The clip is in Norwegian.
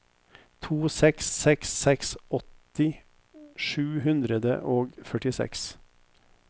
to seks seks seks åtti sju hundre og førtiseks